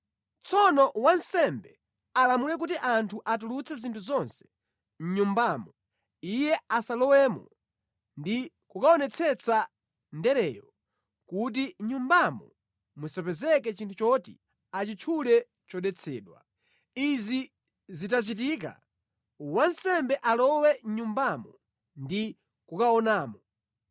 Tsono wansembe alamule kuti anthu atulutse zinthu zonse mʼnyumbamo iye asanalowemo ndi kukaonetsetsa ndereyo kuti mʼnyumbamo musapezeke chinthu choti achitchule chodetsedwa. Izi zitachitika, wansembe alowe mʼnyumbamo ndi kukaonamo.